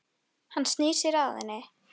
Hún sagðist ekki vera svöng.